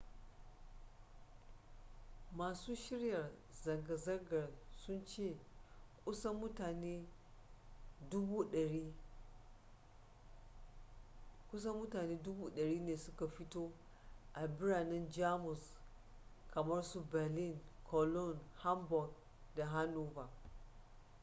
masu shirya zanga-zangar sun ce kusan mutane 100,000 ne suka fito a biranen jamus kamar su berlin cologne hamburg da hanover